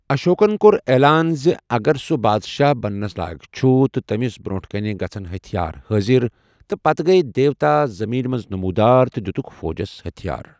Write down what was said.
اشوکن کوٚر اعلان زِ اگر سۄ بادشاہ بننس لائق چھُ تہٕ تٔمِس برٛونٛٹھ کَنِہ گژھن ہتِٔھیار حٲضِر، تہٕ پتہٕ گیۍ دیوتا زمیٖن منٛز نمودار تہٕ دِتُکھ فوجس ہتٔھیار۔